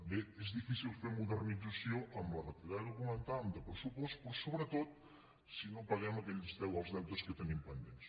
bé és difícil fer modernització amb la retallada que comentàvem de pressupost però sobretot si no paguem els deutes que tenim pendents